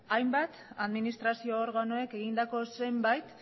hainbat administrazio organoek egindako zenbait